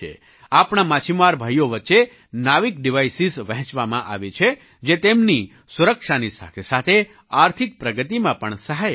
આપણા માછીમાર ભાઈઓ વચ્ચે નેવિક ડિવાઇસિસ વહેંચવામાં આવી છે જે તેમની સુરક્ષાની સાથેસાથે આર્થિક પ્રગતિમાં પણ સહાયક છે